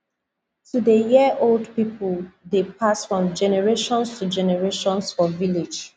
to dey hear old people dey pass from generations to generation for village